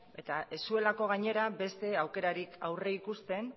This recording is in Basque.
ez zuelako gainera beste aukerarik aurrikusten